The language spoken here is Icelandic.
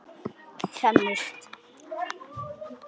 Ég tæmist.